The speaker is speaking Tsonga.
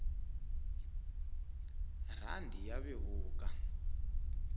rhandi ya vevuka